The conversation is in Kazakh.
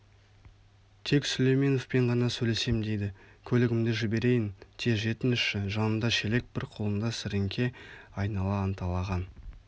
тек сүлейменовпен ғана сөйлесем дейді көлігімді жіберейән тез жетіңізші жанында шелек бір қолында сіріңке айнала анталаған